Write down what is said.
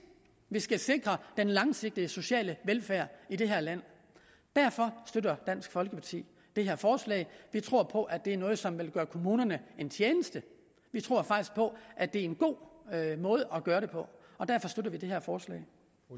vi skal sikre den langsigtede sociale velfærd i det her land derfor støtter dansk folkeparti det her forslag vi tror på at det er noget som vil gøre kommunerne en tjeneste vi tror faktisk på at det er en god måde at gøre det på og derfor støtter vi det her forslag